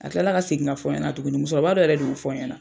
A kilala ka segin ka fɔ n ɲɛna tugunni musokɔrɔba dɔ yɛrɛ de yo fɔ ɲɛna.